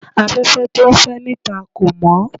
Afẹ́fẹ́ tó ń fẹ́ níta kò mọ́